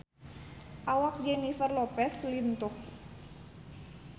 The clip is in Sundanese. Awak Jennifer Lopez lintuh